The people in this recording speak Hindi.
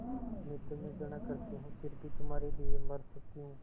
मैं तुम्हें घृणा करती हूँ फिर भी तुम्हारे लिए मर सकती हूँ